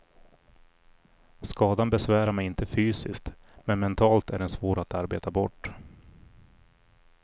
Skadan besvärar mig inte fysiskt, men mentalt är den svår att arbeta bort.